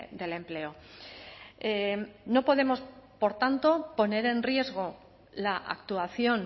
del empleo no podemos por tanto poner en riesgo la actuación